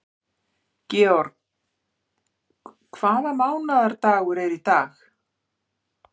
George, hvaða mánaðardagur er í dag?